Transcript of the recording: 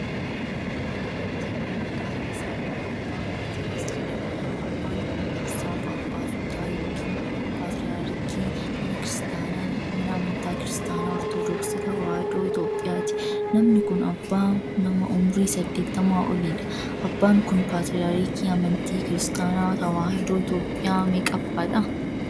Abbaan amantii kun, maqaan isaanii Abbaa Maatiyaas Jedhamu. Abbaan kun, dursaa phaaphaasotaa yokin paatriyaarikii mana amantaa Kiristaanaa Ortodooksii Tawaahidoo Itoophiyaati. Namni kun, abbaa nama umurii 80 olii dha. Abbaan kun, paatriyaarikii amantii Kiristaanaa Tawaahidoo Itoophiyaa meeqaffaadha?